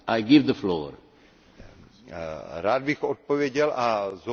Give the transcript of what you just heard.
Rád bych odpověděl a zopakuji víceméně to, co jsem konstatoval.